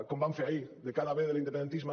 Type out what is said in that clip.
com van fer ahir de cara a vendre l’independentisme